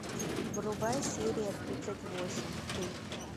врубай серия тридцать восемь ты